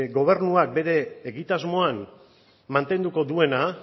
gobernuak bere egitasmoan mantenduko duena